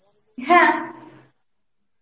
হ্যাঁ